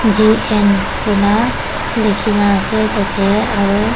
D_N kuina likhina ase tateh aru.